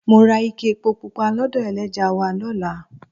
Mo ra ike epo pupa lọ́dọ̀ ẹlẹ́ja wa lọ́la.